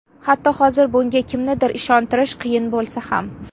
Hatto hozir bunga kimnidir ishontirish qiyin bo‘lsa ham.